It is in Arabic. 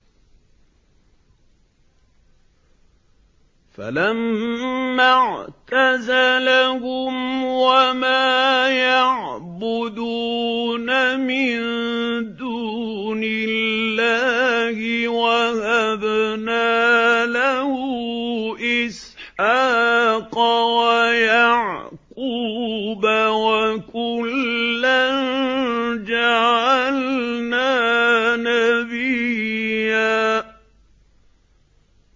فَلَمَّا اعْتَزَلَهُمْ وَمَا يَعْبُدُونَ مِن دُونِ اللَّهِ وَهَبْنَا لَهُ إِسْحَاقَ وَيَعْقُوبَ ۖ وَكُلًّا جَعَلْنَا نَبِيًّا